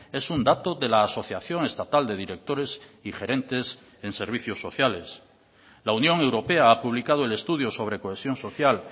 es un dato de la asociación estatal de directores y gerentes en servicios sociales la unión europea ha publicado el estudio sobre cohesión social